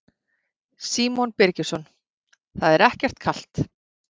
Símon Birgisson: Það er ekkert kalt?